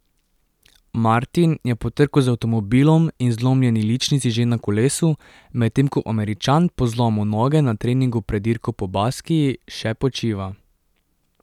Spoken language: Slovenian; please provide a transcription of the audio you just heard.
Martin je po trku z avtomobilom in zlomljeni ličnici že na kolesu, medtem ko Američan po zlomu noge na treningu pred dirko po Baskiji še počiva.